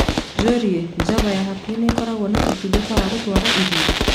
njūrie java ya hakuhī nīkoraguo na ūtungata wa gutwara irio